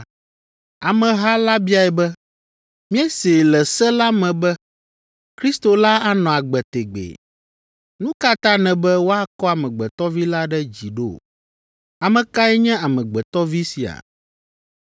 Ameha la biae be, “Míesee le Se la me be Kristo la anɔ agbe tegbee. Nu ka ta nèbe ‘woakɔ Amegbetɔ Vi la ɖe dzi’ ɖo? Ame kae nye Amegbetɔ Vi sia?”